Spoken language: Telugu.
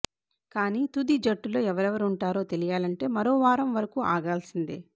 కానీ తుది జట్టులో ఎవరెవరుంటారో తెలియాలంటే మరో వారం వరకు ఆగాల్సిందే